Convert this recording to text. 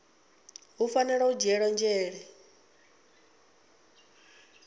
hu fanela u dzhielwa nzhele